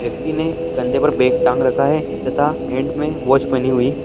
व्यक्ति ने कंधे पर बैग टांग रखा है तथा हैंड मे वॉच पहनी हुई है।